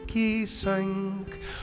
í sæng